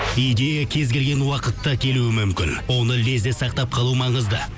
идея кез келген уақытта келуі мүмкін оны лезде сақтап қалу маңызды